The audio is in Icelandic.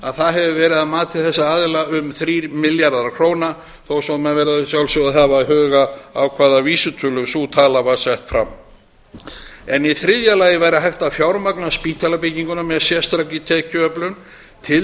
að það hefur verið að mati þessara aðila um þrír milljarðar króna þó svo að menn verði að sjálfsögðu að hafa í huga við hvaða vísitölu var miðað þegar sú tala var sett fram í þriðja lagi væri hægt að fjármagna spítalabygginguna með sérstakri tekjuöflun til